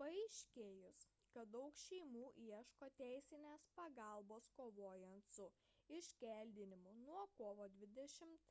paaiškėjus kad daug šeimų ieško teisinės pagalbos kovojant su iškeldinimais kovo 20